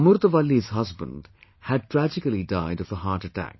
Amurtha Valli's husband had tragically died of a heart attack